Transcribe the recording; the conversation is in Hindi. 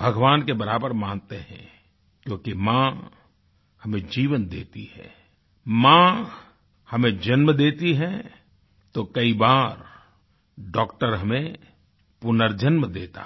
भगवान के बराबर मानते हैं क्योंकि माँ हमें जीवन देती है माँ हमें जन्म देती है तो कई बार डॉक्टर हमें पुनर्जन्म देता है